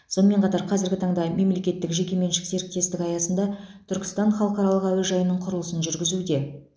сонымен қатар қазіргі таңда мемлекеттік жекеменшік серіктестік аясында түркістан халықаралық әуежайының құрылысын жүргізуде